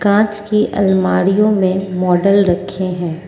कांच की अलमारीयो में मॉडल रखे हैं।